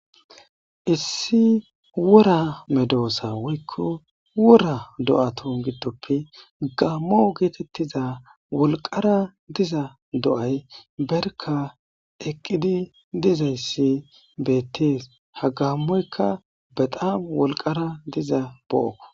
issi wura medoosa woykko wura do7ato giddoppe gammo geetettiza wolqara diza do7ay berka eqqidi dizayssi beettees hagamoyka bedam wolqara diza do7ako